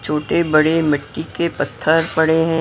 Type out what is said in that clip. छोटे-बड़े मिट्टी के पत्थर पड़े हैं।